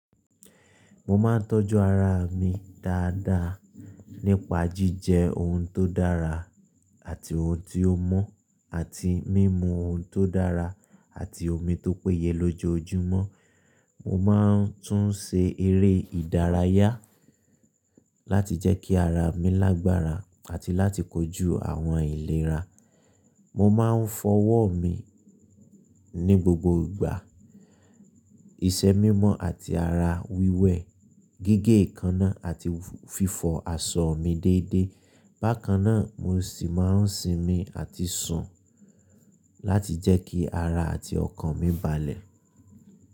Mo máa ń tọ́jú ara mi dáadáa nípa jíjẹ ohun tó dára àti ohun tí ó mọ́, àti mímu ohun tó dára àti omi tó péye lójoojúmọ́. Mo máa ń tún ṣe eré ìdárayá láti jẹ́ kí ara mi lágbára àti láti kojú àwọn ìlera. Mo máa ń fọwọ́ mi ní gbogbo ìgbà, ìṣe mímọ́ àti ara wíwẹ̀, gígé ìkaná àti fífọ aṣọ mi déédéé. Bákan náà, mo sì máa ń sinmi àti sùn láti jẹ́ kí ara àti ọkàn mi balẹ̀.